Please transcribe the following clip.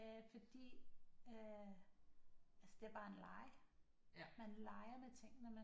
Øh fordi øh altså det er bare en leg man leger med tingene man